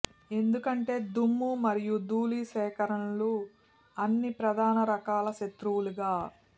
ఎందుకంటే దుమ్ము మరియు ధూళి సేకరణలు అన్ని ప్రధాన రకాల శత్రువులుగా